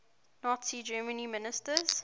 nazi germany ministers